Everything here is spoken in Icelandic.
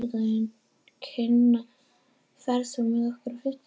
Kinan, ferð þú með okkur á fimmtudaginn?